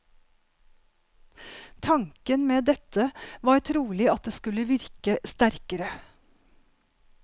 Tanken med dette var trolig at det skulle virke sterkere.